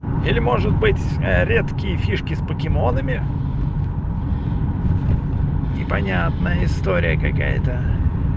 или может быть редкие фишки с покемонами не понятная история какая то